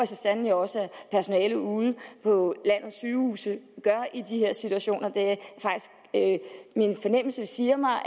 så sandelig også at personalet ude på landets sygehuse gør i de her situationer min fornemmelse siger mig